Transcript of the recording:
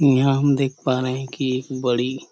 यहाँ हम देख पा रहे है की बड़ी--